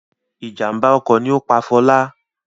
Ìjàmbá ọkọ̀ ni ó pa Fọlá.